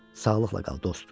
Sağlıqla qal, dost.